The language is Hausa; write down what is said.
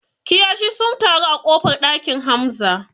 Kiyashi sun taru a ƙofar ɗakin Hamza